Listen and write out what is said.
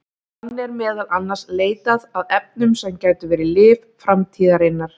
Þannig er meðal annars leitað að efnum sem gætu verið lyf framtíðarinnar.